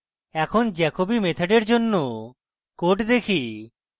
এখন jacobi method এর জন্য code দেখি